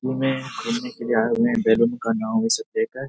घूमे घुमने के लिए आए हुए हैं बैलून का नाव ये सब फेक है ।